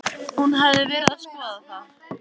Hún hafði verið að skoða það.